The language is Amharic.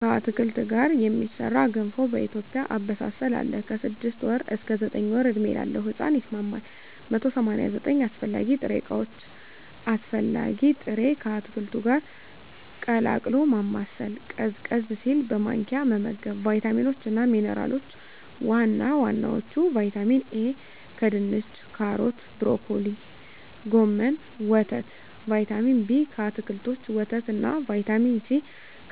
ከአትክልት ጋር የሚሠራ ገንፎ በኢትዮጵያ አበሳሰል አለ። ከ6 ወር እስከ 9 ወር ዕድሜ ላለው ሕጻን ይስማማል። 189 አስፈላጊ ጥሬ ዕቃዎች አስፈላጊ ጥሬ...፣ ከአትክልቱ ጋር ቀላቅሎ ማማሰል፣ ቀዝቀዝ ሲል በማንኪያ መመገብ። , ቫይታሚኖች እና ሚንራሎች(ዋና ዋናዎቹ) ✔️ ቫይታሚን ኤ: ከድንች ካሮት ብሮኮሊ ጎመን ወተት ✔️ ቫይታሚን ቢ: ከአትክልቶች ወተት እና ✔️ ቫይታሚን ሲ: